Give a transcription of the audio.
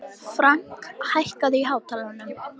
Frank, hækkaðu í hátalaranum.